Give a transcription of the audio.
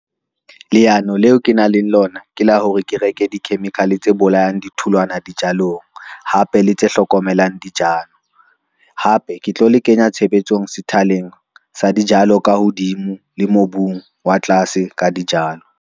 Leano leo ke nang le lona ke la hore ke reke di-chemical tse bolayang ditholwana dijalong hape le tse hlokomelang dijalo. Hape ke tlo le kenya tshebetsong sethaleng sa dijalo ka hodimo le mobung wa tlase ka dijalo.